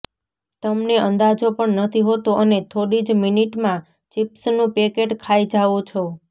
તમને અંદાજો પણ નથી હોતો અને થોડી જ મિનિટમાં ચિપ્સનું પેકેટ ખાઇ જાઓ છો